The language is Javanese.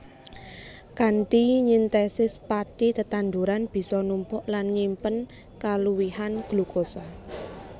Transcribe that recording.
Kanthi nyintesis pathi tetanduran bisa numpuk lan nyimpen kaluwihan glukosa